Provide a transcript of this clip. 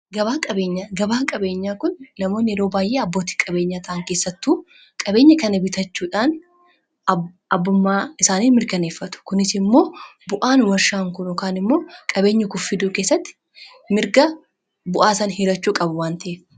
Gabaa qabeenyaa kun namoonni yeroo baay'ee abbootii qabeenyaa ta'an keessattuu qabeenya kana bitachuudhaan abbummaa isaanii mirkaneeffatu. Kunis immoo bu'aan warshaan kun yookaan immoo qabeenyi kun fidu keessatti mirga bu'aa san hiirachuu qabu waan ta'eef.